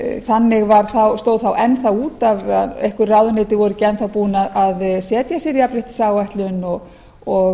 þannig stóð það enn þá út af að einhver ráðuneyti voru ekki enn þá búin að setja sér jafnréttisáætlun og